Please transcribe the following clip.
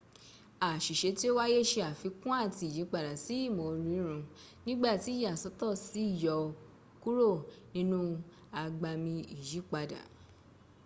àṣìṣe tí o wáyé ṣe àfikún àti ìyípadà sí ìmọ̀ orírùn nígbàtí ìyàsọ́tọ̀ sì yọ ọ́ kúrò nínú agbami ìyípadà